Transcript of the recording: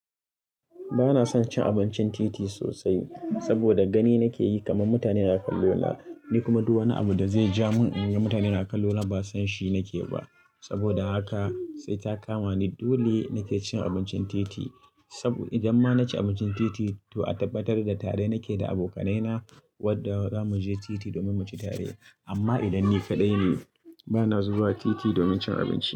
Ba na son cin abincin titi sosai saboda gani na ke yi kamar mutanen a kallo na, ni kuma duk wani abu da zai ja mun in ga mutanen a kallo na ba san shi na ke ba. Saboda haka sai ta kama ni dole na ke cin abincin titi saboda idan ma na ci abincin titi to a tabbatar da tare na ke da abokanai na wadda zamu je titi domin mu ci tare. Amma idan ni kaɗai ne, ba na zuwa titi domin cin abinci.